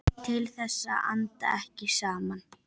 Til þess að anda ekki saman.